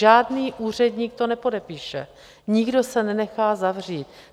Žádný úředník to nepodepíše, nikdo se nenechá zavřít.